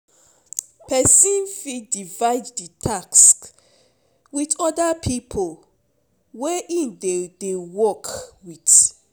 Person fit divide the task with other pipo wey im dey dey work with